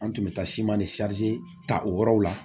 An tun bɛ taa siman ni ta o yɔrɔw la